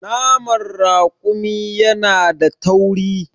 Naman raƙumi yana da tauri.